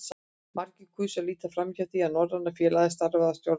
Margir kusu að líta framhjá því, að Norræna félagið starfaði að stjórnmálum.